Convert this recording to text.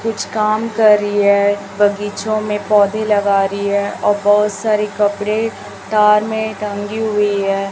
कुछ काम कर रही है बगीचों में पौधे लगा रही है और बहोत सारे कपड़े तार में टंगी हुई है।